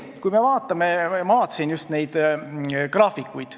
Ma vaatasin just neid graafikuid.